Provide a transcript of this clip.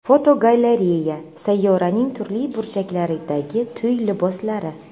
Fotogalereya: Sayyoraning turli burchaklaridagi to‘y liboslari.